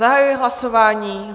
Zahajuji hlasování.